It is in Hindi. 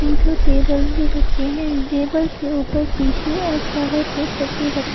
तीन ठो टेबल भी रखे हैं। टेबल के ऊपर टिशु और फ्लावर पोट सब भी रखे --